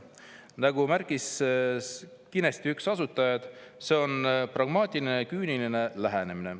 Nagu märkis Skinesti üks asutajaid: "See on pragmaatiline ja küüniline lähenemine.